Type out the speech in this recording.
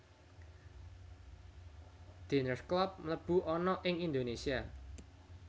Diners Club mlebu ana ing Indonesia